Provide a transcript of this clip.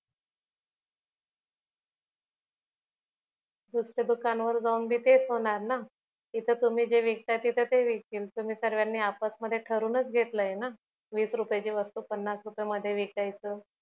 दुसऱ्या दुकान वर जाऊन पण तेच होणार ना इथे ते तुम्ही जे विकता तिथ ते विकतील तुम्ही सर्वांनी आपस मधी ठरवून च घेतलय न वीस रुपयाची वस्तु पन्नास रुपया मध्ये विकायचं